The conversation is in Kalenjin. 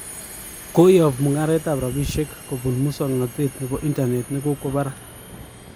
Koyob mungaret ab rapishek kobun muksoknotet nebo internet kokokwa barak